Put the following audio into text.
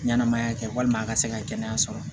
Ɲɛnɛmaya kɛ walima a ka se ka kɛnɛya sɔrɔ